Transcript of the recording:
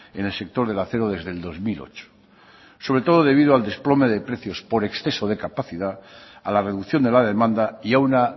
en el sector del acero desde el dos mil ocho sobre todo debido al desplome de precios por exceso de capacidad a la reducción de la demanda y a una